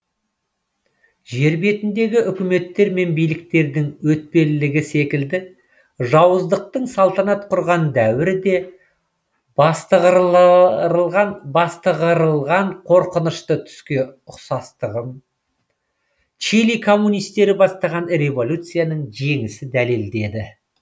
жер бетіндегі өкіметтер мен биліктердің өтпелілігі секілді жауыздықтың салтанат құрған дәуірі де бастығырылған қорқынышты түске ұқсастығын чили коммунистері бастаған революцияның жеңісі дәлелдеді